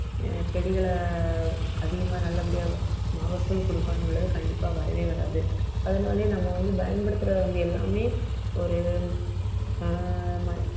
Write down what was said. செடிகளை அதிகமா நல்லபடியா மகசூல் கொடுக்கணும்ன்னு உள்ளது கண்டிப்பா வரவே வராது அதனாலேயே நம்ம வந்து பயன்படுத்துறது வந்து எல்லாமே ஒரு ஆஹ் ம~